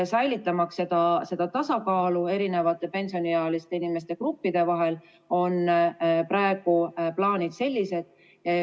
Säilitamaks tasakaalu pensioniealiste inimeste eri gruppide vahel on praegused plaanid sellised.